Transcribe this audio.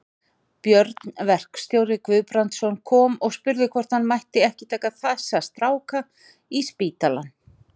Björn verkstjóri Guðbrandsson kom og spurði hvort hann mætti ekki taka þessa stráka í spítalann.